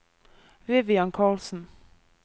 Vivian Karlsen